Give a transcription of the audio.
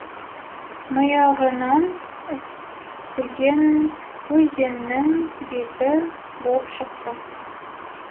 миығынан күлген өзеннің беті боп шықты